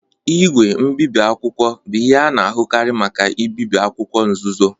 Igwe mbibi akwụkwọ bụ ihe a na-ahụkarị maka ibibi akwụkwọ nzuzo.